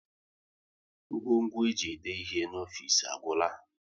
Ngwo ngwo e ji ede ihe n'ofisi agwụla